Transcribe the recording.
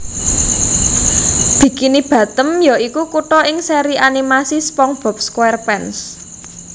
Bikini Bottom ya iku kutha ing seri animasi SpongeBob SquarePants